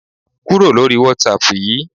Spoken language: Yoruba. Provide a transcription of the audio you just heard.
Kúrò lórí Whatsapp yìí!